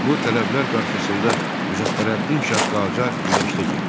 Bu tələblər qarşısında Müzəffərəddin şah Qacar güzəştə getdi.